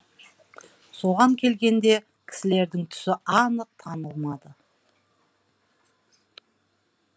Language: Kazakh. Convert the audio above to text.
соған келгенде кісілердің түсі анық танылмады